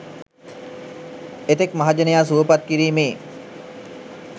එතෙක් මහජනයා සුවපත් කිරීමේ